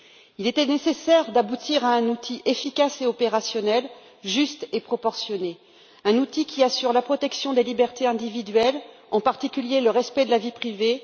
Il était nécessaire d'aboutir à un outil efficace et opérationnel, juste et proportionné, un outil qui assure la protection des libertés individuelles, en particulier le respect de la vie privée.